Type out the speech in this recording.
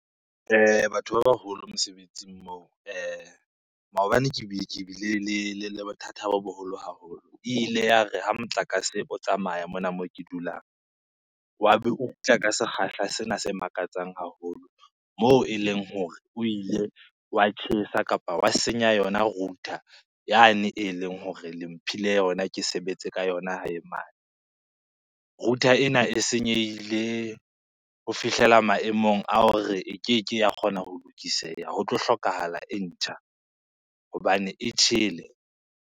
Batho ba baholo mosebetsing moo maobane ke ke bile le bothata bo boholo haholo. E ile ya re ha motlakase o tsamaya mona moo ke dulang, wa be o kgutla ka sekgahla sena se makatsang haholo moo eleng hore o ile wa tjhesa kapa wa senya yona router yane eleng hore le mphile yona ke sebetse ka yona hae mane. Router ena e senyehile ho fihlela maemong a hore e keke ya kgona ho lokiseha, ho tlo hlokahala e ntjha hobane e tjhele.